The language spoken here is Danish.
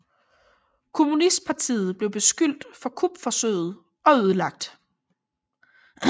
Kommunistpartiet blev beskyldt for kupforsøget og ødelagt